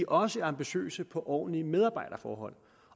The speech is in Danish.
også ambitiøse på ordentlige medarbejderforhold